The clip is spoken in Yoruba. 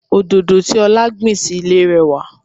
Òdòdó tí ọlá gbìn sì ilé rẹwà.